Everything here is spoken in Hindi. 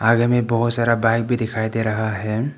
आगे मे बहोत सारा बाइक भी दिखाई दे रहा है।